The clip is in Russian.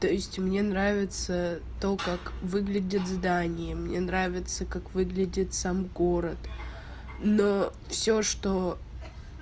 то есть мне нравится то как выглядит здание мне нравится как выглядит сам город но всё что